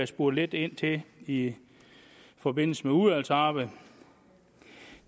spurgt lidt ind til i forbindelse med udvalgsarbejdet